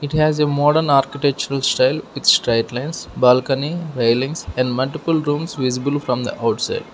there is a modern architectural style with striped lines balcony railings and multiple rooms visible from the outside.